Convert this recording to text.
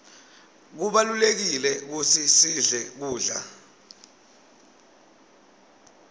kubalulekile kutsi sidle kudla